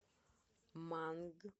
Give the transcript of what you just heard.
манг